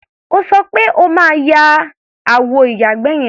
O sọ pé o máa ya àwọ ìyàgbẹ́ yẹn.